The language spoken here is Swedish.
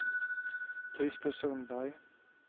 Krister Sundberg